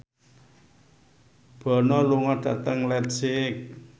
Bono lunga dhateng leipzig